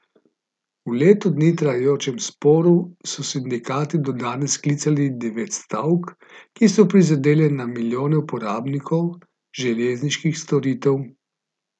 V leto dni trajajočem sporu so sindikati do danes sklicali devet stavk, ki so prizadele na milijone uporabnikov železniških storitev.